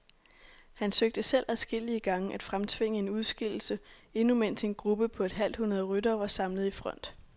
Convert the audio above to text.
Han søgte selv adskillige gange at fremtvinge en udskillelse, endnu mens en gruppe på et halvt hundrede ryttere var samlet i front.